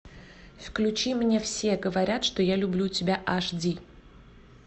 включи мне все говорят что я люблю тебя аш ди